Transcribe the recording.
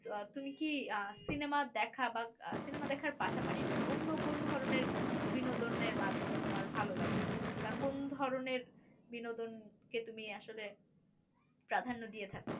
আহ তুমি কি আহ সিনেমা দেখা বা আহ সিনেমা দেখার পাশাপাশি অন্য কোন ধরনের বিনোদনের মাধ্যম তোমার ভালো লাগে বা কোন ধরনের বিনোদনে কে তুমি আসলে প্রাধন্য দিয়ে থাকো